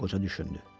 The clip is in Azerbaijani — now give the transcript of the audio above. Qoca düşündü.